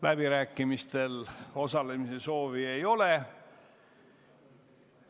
Läbirääkimistel osalemise soovi ei ole.